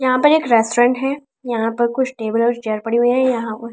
यहां पर एक रेस्टोरेंट है यहां पर कुछ टेबल और चेयर पड़ी हुई हैं यहां--